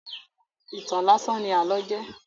Ìtàn láásán ní àlọ́ jẹ́.